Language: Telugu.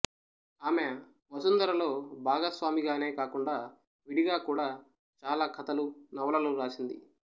ఆమె వసుంధరలో భాగస్వామిగానే కాకుండా విడిగా కూడా చాలా కథలు నవలలు వ్రాసింది